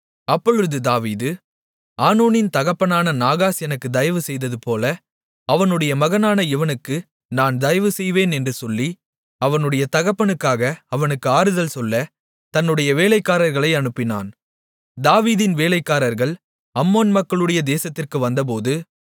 அப்பொழுது தாவீது ஆனூனின் தகப்பனான நாகாஸ் எனக்கு தயவு செய்ததுபோல அவனுடைய மகனான இவனுக்கு நான் தயவு செய்வேன் என்று சொல்லி அவனுடைய தகப்பனுக்காக அவனுக்கு ஆறுதல் சொல்ல தன்னுடைய வேலைக்காரர்களை அனுப்பினான் தாவீதின் வேலைக்காரர்கள் அம்மோன் மக்களுடைய தேசத்திற்கு வந்தபோது